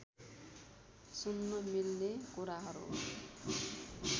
सुन्न मिल्ने कुराहरू